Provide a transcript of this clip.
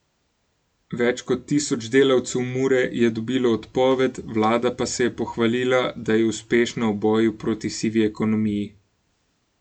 Več kot tisoč delavcev Mure je dobilo odpoved, vlada pa se je pohvalila, da je uspešna v boju proti sivi ekonomiji.